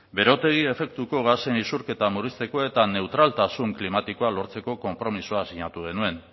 berotegi efektuko gasen isurketa murrizteko eta neutraltasun klimatikoa lortzeko konpromisoa sinatu genuen